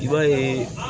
I b'a ye